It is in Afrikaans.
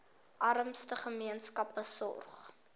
armste gemeenskappe sorg